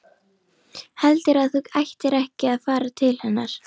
Heldurðu að þú ættir ekki að fara til hennar?